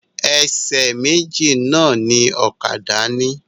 Ẹsẹ̀ méjì náà ni ọ̀kadà ni.